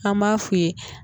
An b'a f'u ye